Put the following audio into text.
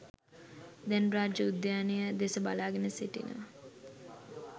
දැන් රාජ උද්‍යානය දෙස බලාගෙන සිටිනවා.